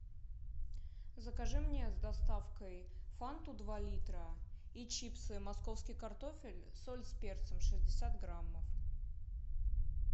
закажи мне с доставкой фанту два литра и чипсы московский картофель соль с перцем шестьдесят граммов